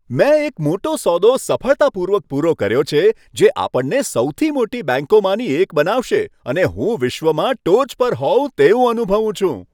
મેં એક મોટો સોદો સફળતાપૂર્વક પૂરો કર્યો છે, જે આપણને સૌથી મોટી બેંકોમાંની એક બનાવશે અને હું વિશ્વમાં ટોચ પર હોવ તેવું અનુભવું છું.